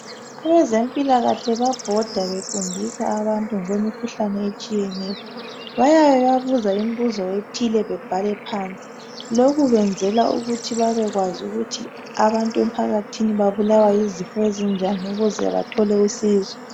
Abezempilakahle bayabhoda befundisa abantu ngokwemikhuhlane etshiyeneyo. Bayababuza imibuzo ethile bebhale phansi. Lokhu benzela ukuthi babekwazi ukuthi abantu emphakathini babulawa yizifo ezinjani ukuze bathole usizo.